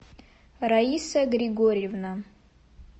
раиса григорьевна